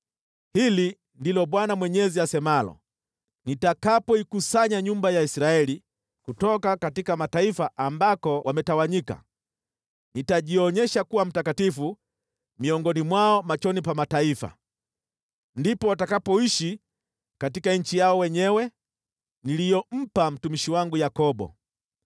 “ ‘Hili ndilo Bwana Mwenyezi asemalo: Nitakapoikusanya nyumba ya Israeli kutoka mataifa ambako wametawanyika, nitajionyesha kuwa mtakatifu miongoni mwao machoni pa mataifa. Ndipo watakapoishi katika nchi yao wenyewe, niliyompa mtumishi wangu Yakobo.